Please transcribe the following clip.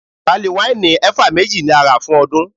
Pali wáìnì eva méjì ni a rà fún ọdún.